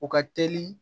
U ka teli